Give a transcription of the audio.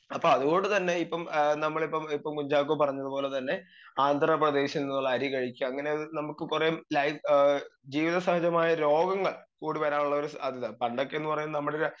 speaker 2 അപ്പൊ അത്കൊണ്ട് തന്നെ ഇപ്പം ഏ നമ്മളിപ്പോ ഇപ്പം കുഞ്ചാക്കോ പറഞ്ഞ പോലെ തന്നെ ആന്ധ്രാപ്രദേശിൽ നിന്നുള്ള അരി കഴിച്ച് അങ്ങനെ നമുക്കെ കൊറേ ലൈഫ് ഏ ജീവിത സാഹചമായ രോഗങ്ങൾ കൂടി വരാനുള്ളൊരു സാധ്യത പണ്ടൊക്കെന്ന് പറയുന്നത് നമ്മളിലെ